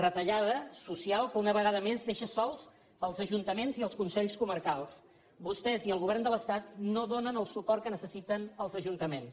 retallada social que una vegada més deixa sols els ajuntaments i els consells comarcals vostès i el govern de l’estat no donen el suport que necessiten els ajuntaments